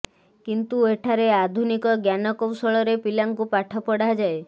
କିନ୍ତୁ ଏଠାରେ ଆଧୁନିକ ଜ୍ଞାନ କୌଶଳରେ ପିଲାଙ୍କୁ ପାଠ ପଢ଼ାଯାଏ